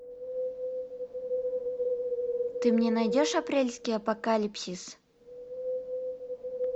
ты мне найдешь апрельский апокалипсис